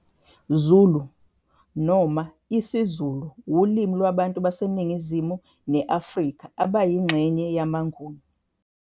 Zulu, noma isiZulu wulimi lwabantu base Ningizimu neAfrika abayingxenye yamaNguni.